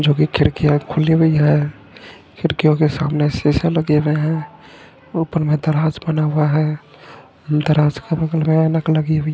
जो भी खिड़कियां खुली हुई है खिड़कियों के सामने शीशे लगे हुए हैं और ऊपर में दराज बना हुआ है दराज का ।